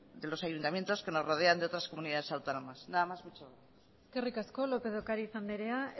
de los ayuntamientos que nos rodean de otras comunidades autónomas nada más muchas gracias eskerrik asko lópez de ocariz anderea